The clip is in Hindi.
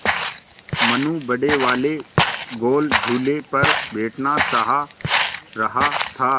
मनु बड़े वाले गोल झूले पर बैठना चाह रहा था